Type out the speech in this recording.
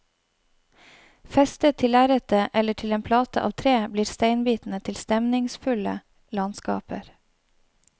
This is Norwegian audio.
Festet til lerretet eller til en plate av tre, blir steinbitene til stemningsfulle landskaper.